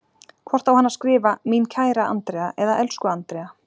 Hvort á hann að skrifa, mín kæra Andrea eða elsku Andrea?